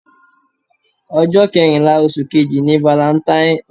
Ọjọ́ kẹrìnlá oṣù kejì ni valentine.